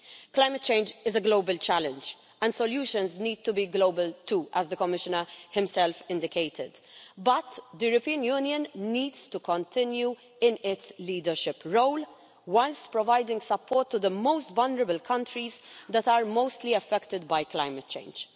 Climate change is a global challenge and solutions need to be global too, as the Commissioner himself indicated. But the European Union needs to continue in its leadership role, whilst providing support to the most vulnerable countries that are mostly affected by climate change.